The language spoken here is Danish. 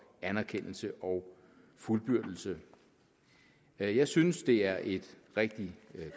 anerkendelse og fuldbyrdelse jeg jeg synes det er et rigtig